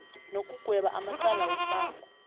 nokugweba amacala wombango